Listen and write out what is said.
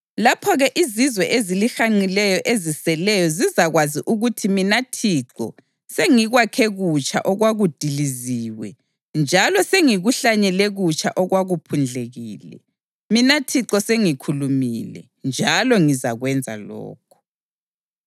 Lapho-ke izizwe ezilihanqileyo eziseleyo zizakwazi ukuthi mina Thixo sengikwakhe kutsha okwakudiliziwe njalo sengikuhlanyele kutsha okwakuphundlekile. Mina Thixo sengikhulumile njalo ngizakwenza lokhu.’